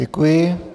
Děkuji.